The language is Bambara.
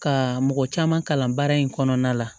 Ka mɔgɔ caman kalan baara in kɔnɔna la